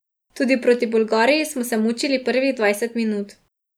Tudi proti Bolgariji smo se mučili prvih dvajset minut.